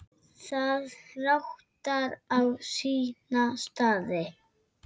Það ratar á sína staði.